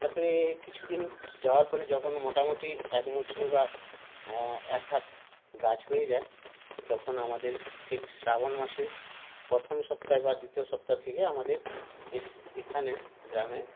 তারপরে কিছুদিন যাওয়ার পরে যখন মোটামুটি একমুঠনি বা এএকহাত গাছ হয়ে যায় তখন আমাদের ঠিক শ্রাবণ মাসের প্রথম সপ্তাহে বা দ্বিতীয় সপ্তাহ থেকে আমাদের এস এখানে গ্রামে